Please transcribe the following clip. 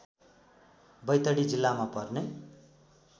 बैतडी जिल्लामा पर्ने